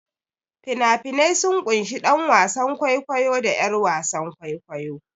Fina-finai sun ƙunshi ɗan wasan kwaikwayo da 'yar wasan kwaikwayo.